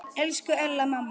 Elsku Ella amma.